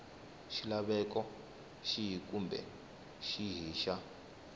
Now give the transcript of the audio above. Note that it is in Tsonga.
xilaveko xihi kumbe xihi xa